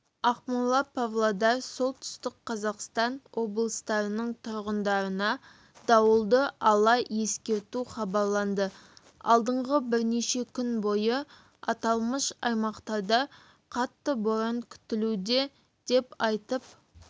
ақмола палодар солтүстік қазақстан облыстарының тұрғындарына дауылды ала ескерту хабарланды алдағы бірнеше күн бойы аталмыш аймақтарда қатты боран күтілуде деп айтып